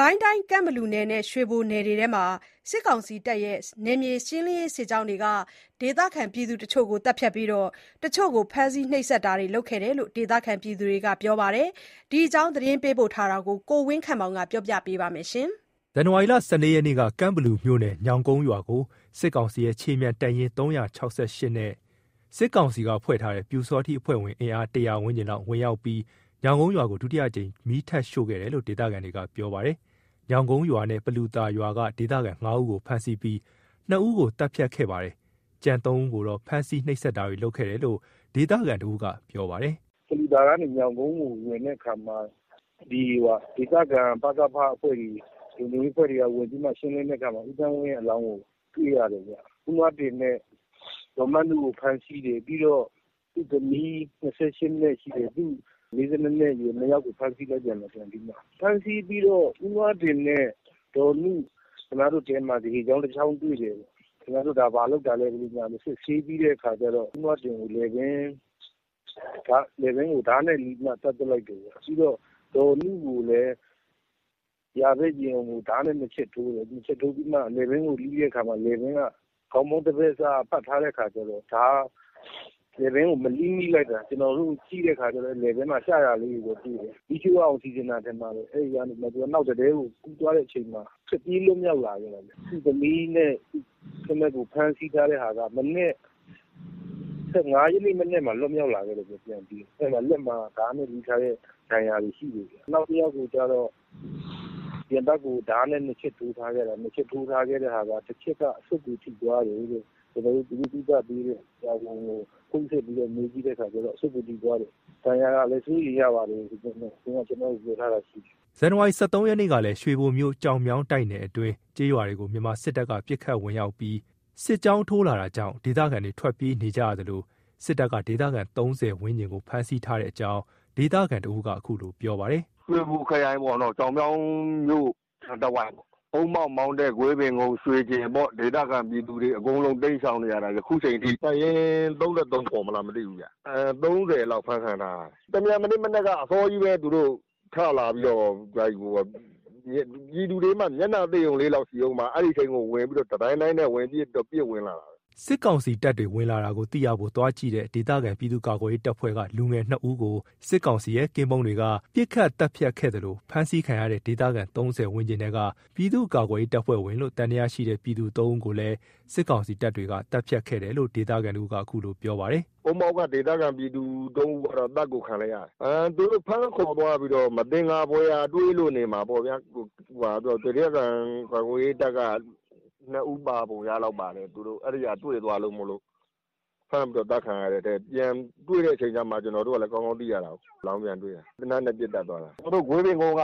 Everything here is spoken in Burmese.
ကိုင်းတိုင်း ကန့်ဘလူနယ်နဲ့ ရွှေဘိုနယ်အတွင်းမှာ စစ်ကောင်စီ နယ်မြေရှင်းလင်းရေးစစ်ကြောင်းတွေက ဒေသခံတချို့ကို သတ်ဖြတ်ပြီး၊ တချို့ကို ဖမ်းဆီး နှိပ်စက်တာတွေလုပ်ခဲ့တယ်လို့ ဒေသခံတွေက ပြောပါတယ်။ ဒီအကြောင်း သတင်းပေးပို့ချက်ကို ကိုဝင်းခန့်မောင်က ပြောပြပါမယ်။ ဇန်နဝါရီ ၁၄ ရက်နေ့က ကန့်ဘလူမြို့နယ် ညောင်ကုန်းရွာကို စစ်ကောင်စီရဲ့ ခြေမြန်တပ်ရင်း ၃၆၈ နဲ့ စစ်ကောင်စီကဖွဲ့ထားတဲ့ ပျူစောထီးအဖွဲ့ဝင် အင်အား၁၀၀ ဝန်းကျင်လောက် ဝင်ရောက်ပြီး၊ ညောင်ကုန်းရွာကို ဒုတိယတစ်ကြိမ် မီးထပ်ရှို့ခဲ့တယ်လို့ ဒေသခံတွေက ပြောပါတယ်။ ညောင်ကုန်းရွာနဲ့ ပလူသာရွာက ဒေသခံ ၅ ဦးကို ဖမ်းဆီးပြီး ၂ ဦးကို သတ်ဖြတ်ပြီးတော့ ကျန် ၃ ဦးကို ဖမ်းဆီး နှိပ်စက်တာတွေ လုပ်ခဲ့တယ်လို့ ဒေသခံတဦးက ပြောပြပါတယ်။ "ပလူသာကနေ ညောင်ကုန်းကို ဝင်တဲ့အခါမှာ ဒီဒေသခံ ပကဖ အဖွဲ့တွေ ဝင်ပြီးတော့ ရှင်းတဲ့အခါမှာ ဦးသန်းလွင်ရဲ့ အလောင်းကိုတွေ့ရတယ်ပေါ့။ ဦးနွားတင်နဲ့ ဒေါ်မနုကို ဖမ်းဆီးတယ်ပေါ့။ ပြီးရင် သူ့သမီးနဲ့ သားမက်ကို ဖမ်းဆီးပြန်တယ်ပေါ့။ ဖမ်းဆီးပြီးတော့ ဦးနွားတင်နဲ့ ဒေါ်နုတို့ကို ခင်များတို့တဲမှာ ဓားရှည်တစ်ချောင်းတွေ့တယ်ပေါ့၊ ခင်ဗျားတို့ဒါ ဘာလုပ်တာလဲ ဆိုပြီး စစ်ဆေးပြီးတဲ့ခါကျတော့ ဦးနွားတင်ကို လည်ပင်းကို ဓားနဲ့လှီးပြီးတော့မှ သတ်ပစ်လိုက်တယ်ဗျ။ ပြီးတော့ ဒေါ်နုကိုလည်း ယာဖက် ရင်အုံကို ဓားနဲ့ ၂ ချက်ထိုးတယ်။ ပြီးတော့မှ လည်ပင်းကို လှီးတဲ့အခါ လည်ပင်းက ခေါင်းပေါင်း တဘက်စပတ်ထားတဲ့အခါကျတော့ လည်ပင်းကို မလှီးမိလိုက်တာ။ ကျွန်တော်တို့ ကြည့်လိုက်တာ လည်ပင်းမှာ ပြတ်ရှရာလေးတွေတော့ ရှိတယ်။ သူတို့က မီးရှို့ရအောင်ပြင်တာ ထင်ပါတယ်။ အဲ့တဲကနေ နောက်တတဲကို ကူးတဲ့အချိန်မှာထွက်ပြေးလွတ်မြောက်လာတာဗျ။ သူ့သမီးနဲ့ သားမက်ကို ဖမ်းထားတာက ၁၅ ရက်နေ့ မနက်မှာ ပြန်လွတ်မြောက်လာခဲ့တယ်ဗျ။ သူတို့မှာ လက်မှာ ဓားနဲ့ လှီးထားတဲ့ ဒဏ်ရာတွေ ရှိတယ်ဗျ။ နောက်တယောက်ကိုကျတော့ ရင်ဘတ်ကို ဓားနဲ့ ၂ ချက်ထိုးထားခဲ့တာ။ တစ်ချက်က အဆုတ်ကိုထိသွားတယ်တဲ့။ ကျွန်တော်တို့အခု သူ့ကို ကုသပေးနေတဲ့ ဆရာဝန်ကို ဖုန်းဆက်မေးကြည့်တာကတော့ ဒဏ်ရာက စိုးရိမ်ရတယ်လို့တော့ ပြောထားတာ ရှိတယ်။" ဇန်နဝါရီ ၁၃ ရက်နေ့ကလည်း ရွှေဘိုမြို့ ကျောက်မြောင်းတိုက်နယ်အတွင်းက ကျေးရွာတွေကို မြန်မာစစ်တပ်က ပစ်ခတ် ဝင်ရောက်ပြီး စစ်ကြောင်းထိုးလာတာကြောင့် ဒေသခံတွေ ထွက်ပြေးနေကြရသလို စစ်တပ်က ဒေသခံ ၃၀ ဝန်းကျင်ကို ဖမ်းဆီးထားတဲ့အကြောင်းကို ဒေသခံ တစ်ဦးက ခုလိုပြောပြပါတယ်။ "ရွှေဘိုခရိုင် ကျောက်မြောင်းမြို့နားတဝိုက်ပေါ့၊ အုန်းမောက် မောင်းတဲ ဂွေးပင်ကုန်း ရွှေကျင်ပေါ့ ဒေသခံတွေအကုန်လုံး တိမ်းရှောင်နေရတာ အခု အချိန်ထိ။ တပ်ရင်း ၃၃ ခေါ်မလား မသိဘူးဗျ။ ၃၀ လောက် အဖမ်းခံထားရတယ်။ တမြန်မနေ့မနက်ကအစောကြီးပဲ သူတို့ဝင်လာတော့ ပြည်သူတွေက မျက်နှာသစ်လောက်တုန်းပဲ ရှိအုန်းမှာ အဲ့အချိန်ကို တဒိုင်းဒိုင်းနဲ့ ပစ်ဝင်လာတာပဲ။" စစ်ကောင်စီတပ်တွေ ဝင်လာတာကို သိရဖို့ သွားကြည့်တဲ့ ဒေသခံပြည်သူ့ကာကွယ်ရေးတပ်ဖွဲ့က လူငယ် ၂ ဦးကို စစ်ကောင်စီရဲ့ ကင်းပုန်းတွေက ပစ်ခတ်သတ်ဖြတ်ခဲ့သလို ဖမ်းဆီးခံရတဲ့ ဒေသခံ ၃၀ ဝန်းကျင်ထဲက ပြည်သူ့ကာကွယ်ရေး တပ်ဖွဲ့ဝင်လို့ သံသယရှိတဲ့ ပြည်သူ ၃ ဦးကိုလည်း စစ်ကောင်စီတပ်တွေက သတ်ဖြတ်ခဲ့တယ်လို့ ဒေသခံ တစ်ဦးက ခုလိုပြောပါတယ်။ "အုန်းမောက်က ဒေသခံ ပြည်သူ ၃ ယောက်ကတော့ အသတ်ကို ခံလိုက်ရတယ်။ သူတို့ ဖမ်းခေါ်သွားပြီးတော့ မသက်ာဖွယ်ရာ တွေ့လို့နေမှာပေါ့ဗျာ၊ ဒေသခံ ကာကွယ်ရေး တပ်က ၂ ဦးပါပုံ ရလောက်ပါတယ်။ သူတို့ အဲ့ဒီဟာ တွေ့သွားလို့မို့လို့ ဖမ်းပြီးတော့ သတ်ခံရတာ။ ပြန်တွေ့တဲ့ အချိန်ကျမှ ကျွန်တော်တို့လည်း ကောင်းကောင်းသိရတာကိုး အလောင်းပြန်တွေ့မှ။ သေနတ်နဲ့ ပစ်သတ်သွားတာ။ ကျွန်တော်တို့ ဂွေးပင်ကုန်းက